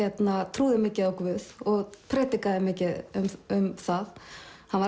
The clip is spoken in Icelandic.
trúði mikið á guð og predikaði mikið um það hann var